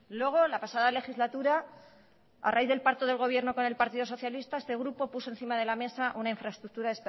luego la pasada legislatura a raíz del pacto del gobierno con el partido socialista este grupo puso encima de la mesa una infraestructura